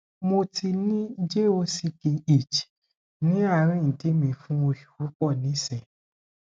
mo ti ni jock itch ni arin idi mi fun osu pupo nisin